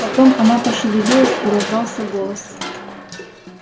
потом она пошевелилась и раздался голос